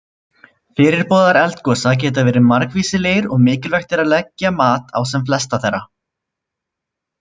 Fyrirboðar eldgosa geta verið margvíslegir og mikilvægt er að leggja mat á sem flesta þeirra.